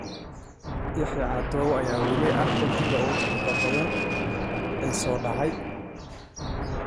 Yaxye cadow ayaa weli ah xiddiga ugu dakhliga badan ee soo daahay.